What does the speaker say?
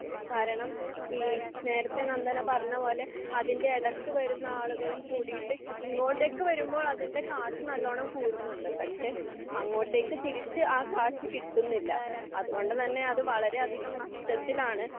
കാരണം നേരത്തെ നന്ദന പറഞ്ഞപോലെ അതിന്റെ ഇടയ്ക്കു വരുന്ന ആളുകളും കൂടിയിട്ട് ഇങ്ങോട്ടേക്കു വരുമ്പോൾ അതിൻ്റെ കാശ് നല്ലോണം കൂടുന്നുണ്ട് പക്ഷെ അങ്ങോട്ടേക്ക് തിരിച്ച് ആ കാശ് കിട്ടുന്നില്ല അതുകൊണ്ടുതന്നെ അത് വളരെയധികം നഷ്ടത്തിലാണ്